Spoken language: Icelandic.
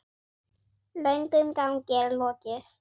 Löngum gangi er lokið.